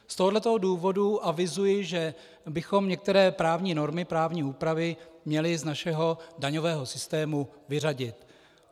Z tohoto důvodu avizuji, že bychom některé právní normy, právní úpravy měli z našeho daňového systému vyřadit.